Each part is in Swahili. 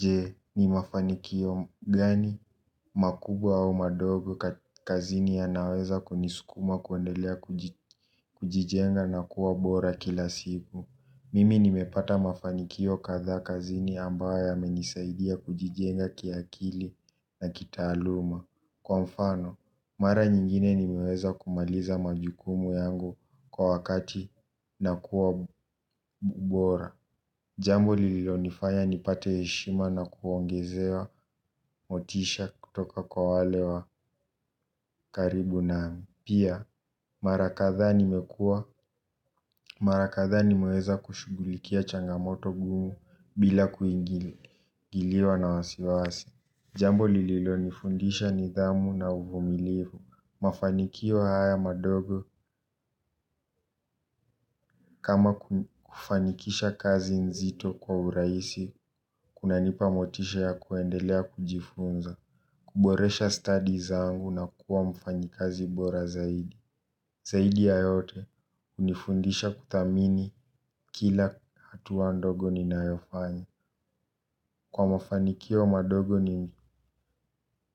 Je ni mafanikio gani makubwa au madogo kazini yanayoweza kunisukuma kuendelea kujijenga na kuwa bora kila siku. Mimi nimepata mafanikio kadhaa kazini ambayo yamenisaidia kujijenga kiakili na kitaaluma. Kwa mfano, mara nyingine nimeweza kumaliza majukumu yangu kwa wakati na kuwa bora. Jambo lilonifanya nipate heshima na kuongezewa motisha kutoka kwa wale wa karibu na pia marakadhaa nimekuwa marakadhaa ni meweza kushughulikia changamoto gumu bila kuingiliwa, ingiliwa na wasiwasi. Jambo lililo nifundisha nidhamu na uvumilivu. Mafanikio haya madogo kama kufanikisha kazi nzito kwa urahisi, kunanipa motisha ya kuendelea kujifunza, kuboresha studies zangu na kuwa mfanyikazi bora zaidi. Zaidi ya yote hunifundisha kuthamini kila hatua ndogo ninayofanya. Kwa mafanikio madogo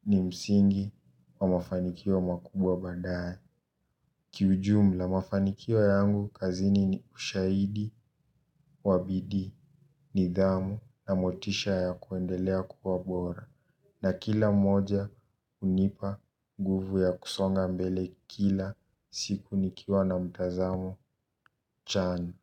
ni msingi, kwa mafanikio makubwa badae. Kiujumu la mafanikio yangu kazini ni ushaidi, wa bidii, nidhamu na motisha ya kuendelea kuwa bora. Na kila moja hunipa nguvu ya kusonga mbele kila siku nikiwa na mtazamo chani.